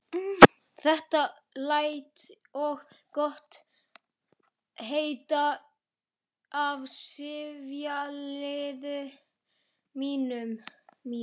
Þetta læt ég gott heita af sifjaliði mínu.